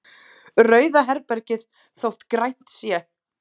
Rauða herbergið þótt grænt sé.